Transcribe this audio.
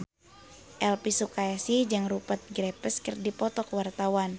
Elvi Sukaesih jeung Rupert Graves keur dipoto ku wartawan